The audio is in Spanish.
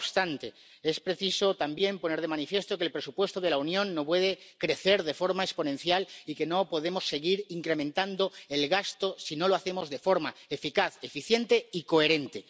No obstante, es preciso también poner de manifiesto que el presupuesto de la Unión no puede crecer de forma exponencial y que no podemos seguir incrementando el gasto si no lo hacemos de forma eficaz, eficiente y coherente.